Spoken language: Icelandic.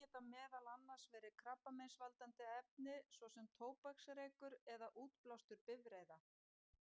Þetta geta meðal annars verið krabbameinsvaldandi efni, svo sem tóbaksreykur eða útblástur bifreiða.